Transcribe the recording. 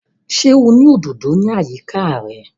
Ṣé o ní òdòdò ní àyíká rẹ̀?